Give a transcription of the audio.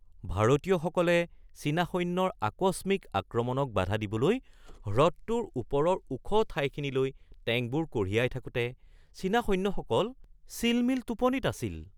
ভাৰতীয়সকলে চীনা সৈন্যৰ আকস্মিক আক্ৰমণক বাধা দিবলৈ হ্ৰদটোৰ ওপৰৰ ওখ ঠাইখিনিলৈ টেংকবোৰ কঢ়িয়াই থাকোতে চীনা সৈন্য়সকল চিলমিল টোপনিত আছিল।